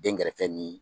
Denkɛrɛfɛ ni